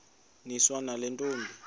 niswa nale ntombi